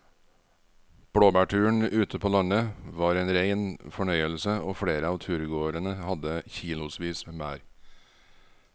Blåbærturen ute på landet var en rein fornøyelse og flere av turgåerene hadde kilosvis med bær.